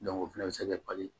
o fɛnɛ bɛ se ka pali